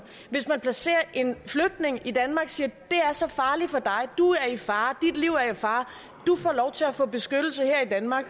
hvis man placerer en flygtning i danmark og siger det er så farligt for dig du er i fare dit liv er i fare du får lov til at få beskyttelse her i danmark